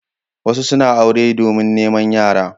Wasu suna aure domin neman yara.